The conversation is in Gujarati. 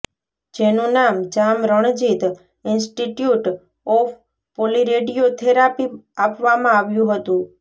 જેનું નામ Jam Ranjit institute of polyradio therapy આપવામાં આવ્યું હતું